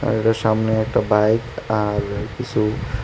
এটার সামনে একটা বাইক আর কিসু ।